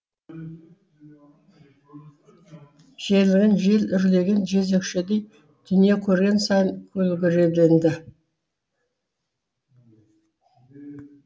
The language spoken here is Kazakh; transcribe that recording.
желігін жел үрлеген жезөкшедей дүние көрген сайын көлгіреленді